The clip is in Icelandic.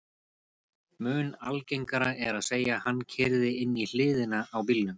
Mun algengara er að segja: Hann keyrði inn í hliðina á bílnum